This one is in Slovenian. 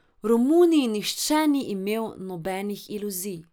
V Romuniji nihče ni imel nobenih iluzij.